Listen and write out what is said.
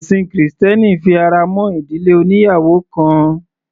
Ẹ̀sin krìstẹ́nì fi ara mọ́ ìdílé oníyàwò kan.